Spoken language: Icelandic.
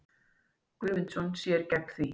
Guðmundsson sér gegn því.